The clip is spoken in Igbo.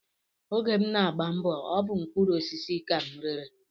Oge m na-agba mbọ, ọ bụ mkpụrụosisi ka m rere